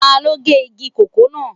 Taló gé igi kòkó náà